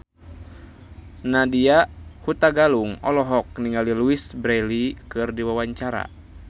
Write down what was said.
Nadya Hutagalung olohok ningali Louise Brealey keur diwawancara